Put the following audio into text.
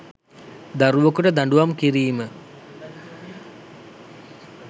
දරුවකුට දඬූවම් කිරීම